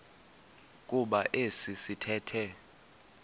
kuba esi sithethe